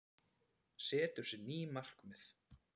Setur sér ný markmið